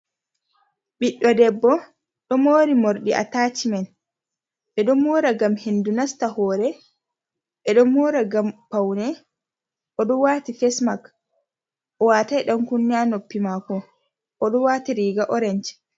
Ɓiɗɗo debbo ɗo mori mordi a tachimen, ɓeɗo mora gam hendu nasta hore, ɓeɗo mora ngam paune, oɗo wati fesmak o watai ɗan kunne ha noppi mako oɗo wati riga oranc.